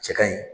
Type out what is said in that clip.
Cɛ kaɲi